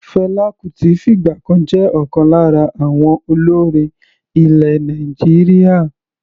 Fela Kuti fìgbà kan jẹ́ ọ̀kan lára àwọn olórin ilẹ̀ Nàìjíríà.